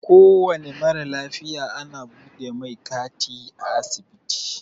Kowane mara lafiya ana buɗe mai kati a asibiti.